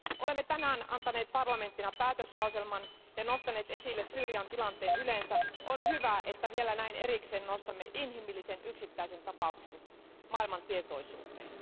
Olemme tänään antaneet Euroopan parlamenttina päätöslauselman ja nostaneet esille Syyrian tilanteen yleensä, on hyvä että vielä näin erikseen nostamme inhimillisen yksittäisen tapauksen maailman tietoisuuteen.